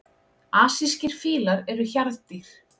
Asískir fílar eru hjarðdýr.